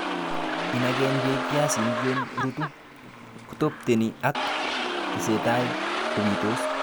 Inagen beek piaisinik yon rutu, kotopteni ak tesetai kobitos